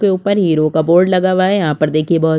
--के ऊपर हीरो का बोर्ड लगा हुआ है यहाँ पर देखिए बहोत--